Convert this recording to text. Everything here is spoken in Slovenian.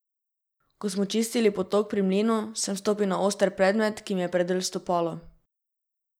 Ko smo čistili potok pri mlinu, sem stopil na oster predmet, ki mi je predrl stopalo.